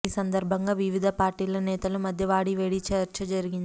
ఈ సందర్భంగా వివిధ పార్టీల నేతల మధ్య వాడీవేడీ చర్చ జరిగింది